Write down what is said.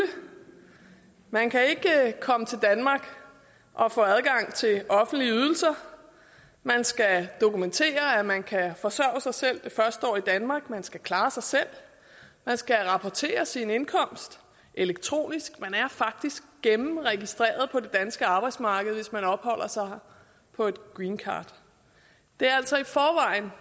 man kan ikke komme til danmark og få adgang til offentlige ydelser man skal dokumentere at man kan forsørge sig selv det første år i danmark man skal klare sig selv man skal rapportere sin indkomst elektronisk man er faktisk gennemregistreret på det danske arbejdsmarked hvis man opholder sig her på et greencard det er altså i forvejen